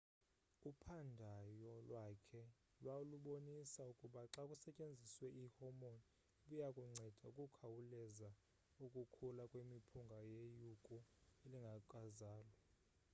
uphandyo lwakhe lwalubonisa ukuba xa kusetyenziswe i hormone ibiyakunceda ukukhawuleza ukukhula kwemiphunga yeyuku elingekazalwa